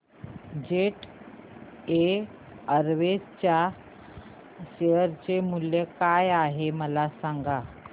jet Airways च्या share चे मूल्य काय आहे मला सांगा